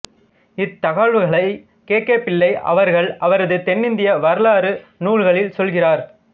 இத்தகவல்களை K K Pillai அவர்கள் அவரது தென்னிந்திய வரலாறு நூலில் சொல்கிறார்